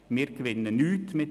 Wir gewinnen nichts damit.